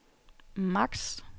max